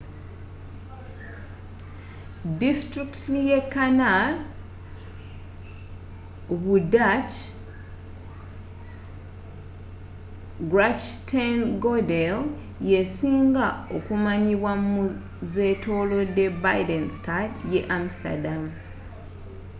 disitulikiti ye canal bu dutch: grachtengordel yesinga okumanyibwa mu zzetolodde binnenstad ye amsterdam